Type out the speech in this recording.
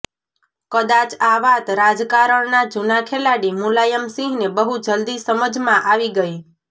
કદાચ આ વાત રાજકારણના જૂના ખેલાડી મુલાયમસિંહને બહુ જલદી સમજમાં આવી ગઇ